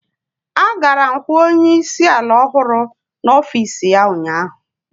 Agara m hụ onye isi ala ọhụrụ n'ọfịs ya ụnyaahụ.